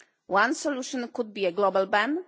One solution could be a global ban.